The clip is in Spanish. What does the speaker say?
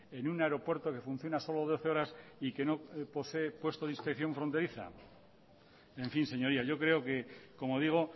en un aeropuerto que funciona solo doce horas y que no posee puesto de inspección fronteriza en fín señoría yo creo que como digo